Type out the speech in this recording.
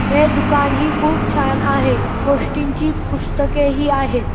हे दुकान ही खूप छान आहे गोष्टींची पुस्तके ही आहेत.